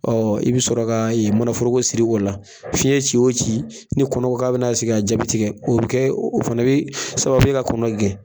i bɛ sɔrɔ ka manaforoko siri o la, fiɲɛ ci o ci ni kɔnɔ ko k'a bɛna sigi a ja bɛ tigɛ. O bɛ kɛ o fana bɛ sababu ye ka kɔnɔ gɛn.